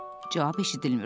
Cavab eşidilmir.